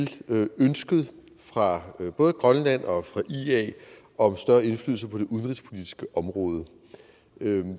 til ønsket fra både grønland og ia om større indflydelse på det udenrigspolitiske område